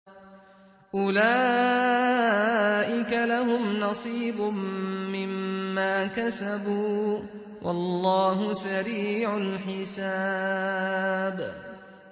أُولَٰئِكَ لَهُمْ نَصِيبٌ مِّمَّا كَسَبُوا ۚ وَاللَّهُ سَرِيعُ الْحِسَابِ